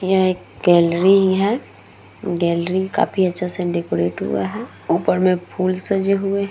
यह एक गैलरी है गैलरी काफी अच्छा से डेकोरेट हुआ है ऊपर में फूल सजे हुए हैं।